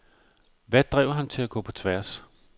Hvad drev ham til at gå på tværs?